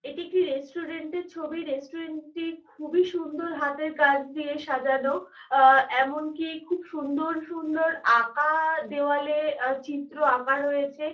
এটি একটি রেস্টুরেন্ট -এর ছবি রেস্টুরেন্ট -টি খুবই সুন্দর হাতের কাজ দিয়ে সাজানো আ এমনকি খুব সুন্দর সুন্দর আঁকা দেওয়ালে অ চিত্র আঁকা রয়েছে।